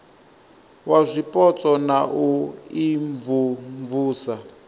wa zwipotso na u imvumvusa